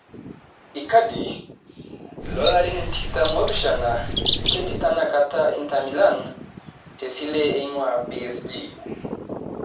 Ikadi, loolarin tikitam oopishana ketii tenakata intamilan tesile eing'ua psg